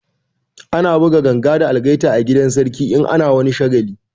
Ana buga ganga da algaita a gidan sarki in ana wani shagali